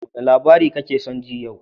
Wane labari kake son ji a yau?